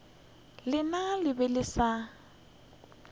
lena le be le sa